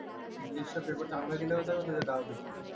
English चा paper चांगला गेला होता का तुझा दहावीचा